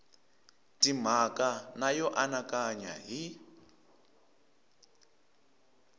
timhaka na yo anakanya hi